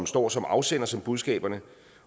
står som afsender til budskaberne